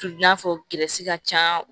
I n'a fɔ ka can